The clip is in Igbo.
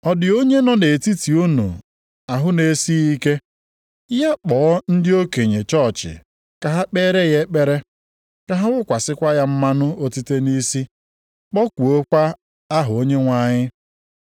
Ọ dị onye nọ nʼetiti unu ahụ na-esighị ike? Ya kpọọ ndị okenye chọọchị ka ha kpeere ya ekpere, ka ha wụkwasịkwa ya mmanụ otite nʼisi kpọkuokwa aha Onyenwe anyị.